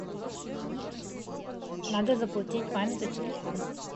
надо заплатить маме за телефон